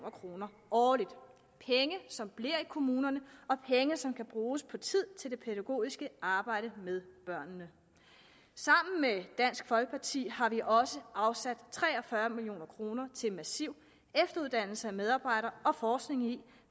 kroner årligt penge som bliver i kommunerne og penge som kan bruges på tid til det pædagogiske arbejde med børnene sammen med dansk folkeparti har vi også afsat tre og fyrre million kroner til massiv efteruddannelse af medarbejdere og forskning i